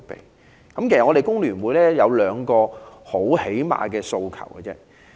香港工會聯合會有兩個很基本的訴求。